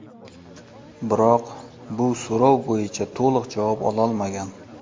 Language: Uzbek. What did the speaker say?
Biroq, bu so‘rov bo‘yicha to‘liq javob ololmagan.